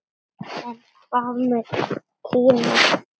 En hvað með Kína?